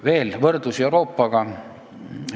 Veel, võrdlus Euroopaga.